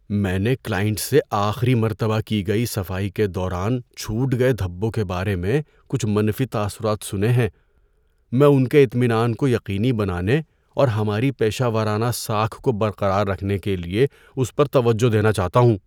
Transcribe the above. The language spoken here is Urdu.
میں نے کلائنٹ سے آخری مرتبہ کی گئی صفائی کے دوران چھوٹ گئے دھبوں کے بارے میں کچھ منفی تاثرات سنے ہیں۔ میں ان کے اطمینان کو یقینی بنانے اور ہماری پیشہ ورانہ ساکھ کو برقرار رکھنے کے لیے اس پر توجہ دینا چاہتا ہوں۔